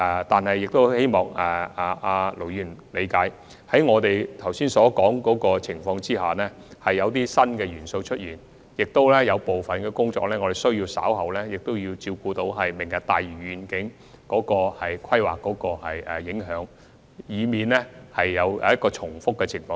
但是，我希望盧議員能夠理解，在剛才所說情況下，有些新元素已然出現，也有部分工作需要顧及"明日大嶼願景"的規劃和影響，以免出現重複。